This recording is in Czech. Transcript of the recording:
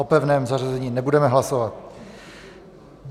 O pevném zařazení nebudeme hlasovat.